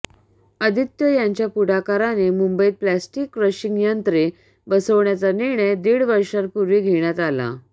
आदित्य यांच्या पुढाकाराने मुंबईत प्लास्टिक क्रशिंग यंत्रे बसवण्याचा निर्णय दीड वर्षांपूर्वी घेण्यात आला